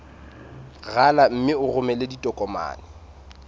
rala mme o romele ditokomene